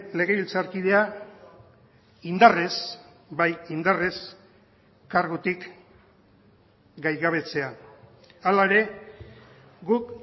legebiltzarkidea indarrez bai indarrez kargutik gaigabetzea hala ere guk